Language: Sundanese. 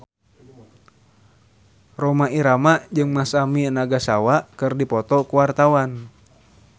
Rhoma Irama jeung Masami Nagasawa keur dipoto ku wartawan